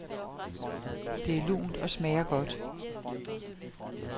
Det er lunt og smager godt.